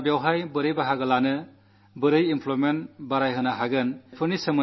സാങ്കേതികവിദ്യകൊണ്ട് എന്ത് സാധിക്കാംഫൈനാൻഷ്യൽ മോഡൽ എന്താകാം ജനപങ്കാളിത്തം എങ്ങനെ സാധിക്കാം